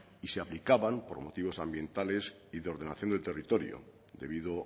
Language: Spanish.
y se aplicaban por motivos ambientales y de ordenación del territorio debido